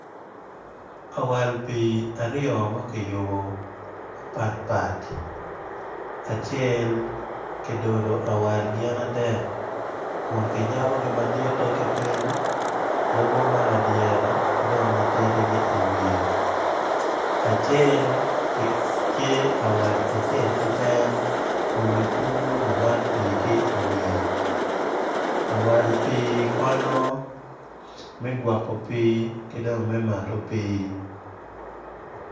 Awal pii aryo ma kiyubo ma patpat acel ki dodo awal gin adek kun kiyabogi maditte ki piny lubo ma ladyere ki matidi ki i wiyeacel tye awal acel keken kun kikubo lamat pii ki i wiye awal pii konyo me gwoko pii ki me mato pii.